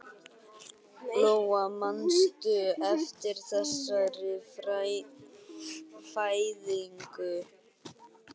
Lóa: Manstu eftir þessari fæðingu?